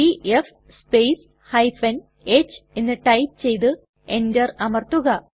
DF space h എന്ന് type ചെയ്തു enter അമർത്തുക